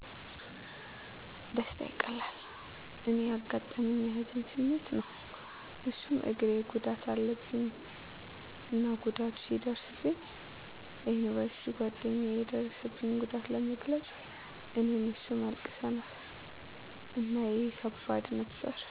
ደስታ ይቀላል። እኔ ያጋጠመኝ የሀዘን ስሜት ነው እሱም እግሬ ጉዳት አለብኝ እና ጉዳቱ ሲደርስብኝ ለዩኒቨርሲቲ ጓደኛየ የደረሰብኝን ጉዳት ለመግለፅ እኔም እሱም አልቅሰናል። እና ይህ ከባድ ነበር።